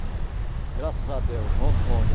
Graças a Deus, Rondônia.